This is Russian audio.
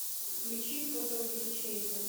включи фотоувеличение